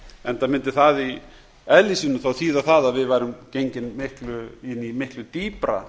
enda mundi það í eðli sínu þýða það að við værum gengin inn í miklu dýpra